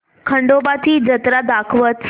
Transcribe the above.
खंडोबा ची जत्रा दाखवच